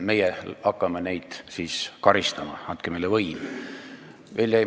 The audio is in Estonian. Meie hakkame neid siis karistama ja andke meile võim!